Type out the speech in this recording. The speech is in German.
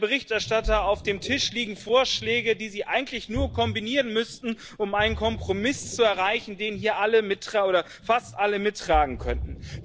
Herr Berichterstatter, auf dem Tisch liegen Vorschläge, die Sie eigentlich nur kombinieren müssten, um einen Kompromiss zu erreichen, den hier fast alle mittragen könnten.